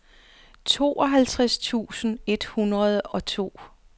tooghalvtreds tusind et hundrede og to